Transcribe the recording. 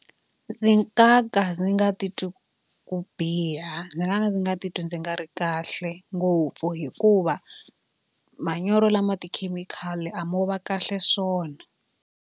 Ndzi nga ka ndzi nga titwa ku biha ndzi nga ka ndzi nga titwi ndzi nga ri kahle ngopfu hikuva manyoro lama tikhemikhali a mo va kahle swona.